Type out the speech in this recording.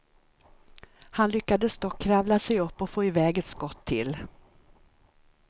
Han lyckades dock kravla sig upp och få iväg ett skott till.